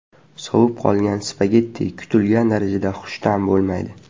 Sovib qolgan spagetti kutilgan darajada xushta’m bo‘lmaydi.